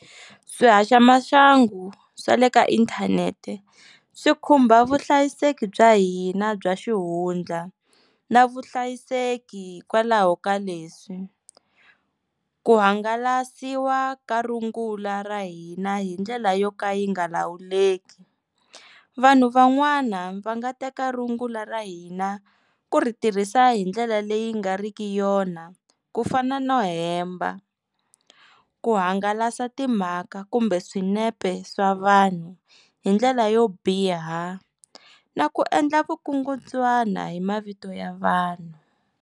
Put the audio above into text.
Swihaxamaxangu swa le ka inthanete swi khumba vuhlayiseki bya hina bya xihundla na vuhlayiseki hikwalaho ka leswi, ku hangalasiwa ka rungula ra hina hi ndlela yo ka yi nga lawuleki vanhu van'wana va nga teka rungula ra hina ku ri tirhisa hi ndlela leyi nga riki yona ku fana no hemba, ku hangalasa timhaka kumbe swinepe swa vanhu hi ndlela yo biha na ku endla vukungundzwana hi mavito ya vanhu.